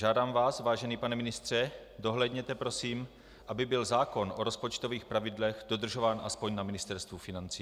Žádám vás, vážený pane ministře, dohlédněte prosím, aby byl zákon o rozpočtových pravidlech dodržován aspoň na Ministerstvu financí.